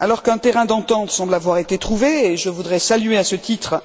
Alors qu'un terrain d'entente semble avoir été trouvé je voudrais saluer, à ce titre,